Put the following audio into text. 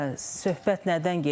Söhbət nədən gedirdi?